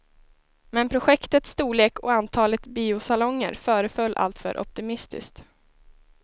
Men projektets storlek och antalet biosalonger föreföll alltför optimistiskt.